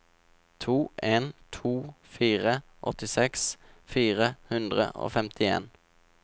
to en to fire åttiseks fire hundre og femtien